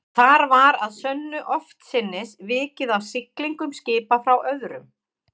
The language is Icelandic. Þar var að sönnu oftsinnis vikið að siglingum skipa frá öðrum